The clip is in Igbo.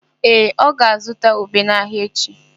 Ee, ọ ga-azụta ube n'ahịa echi.